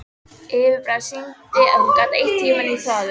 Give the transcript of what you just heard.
Yfirbragðið sýndi að hún gat eytt tímanum í þvaður.